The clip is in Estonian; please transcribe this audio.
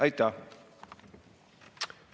Aitäh!